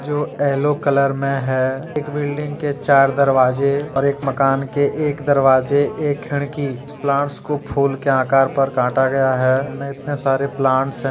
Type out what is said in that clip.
Yellow colour में है एक बिल्डिंग के चार दरवाजे और एक मकान के एक दरवाजे एक खिड़की प्लांट्स को फूल के आकार पर काटा गया है मे इतने सारे प्लांट्स हैं।